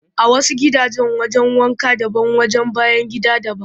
A wasu gidajen wajen wanka daban wajen bayan gida daban